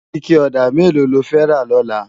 Iké òdá méló ló fè rá lòlá?